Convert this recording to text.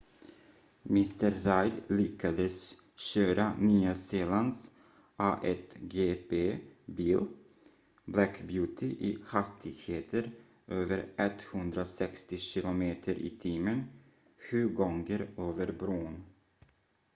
mr reid lyckades köra nya zeelands a1gp bil black beauty i hastigheter över 160 km/t sju gånger över bron